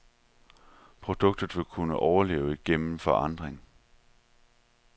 Produktet vil kun kunne overleve igennem forandring.